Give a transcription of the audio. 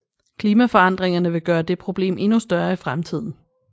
Klimaforandringerne vil gøre det problem endnu større i fremtiden